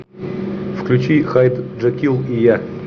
включи хайд джекилл и я